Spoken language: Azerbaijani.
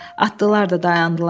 Atlılar da dayandılar.